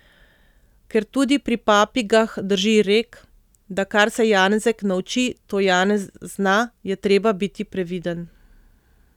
Ker tudi pri papigah drži rek, da kar se Janezek nauči, to Janez zna, je treba biti previden.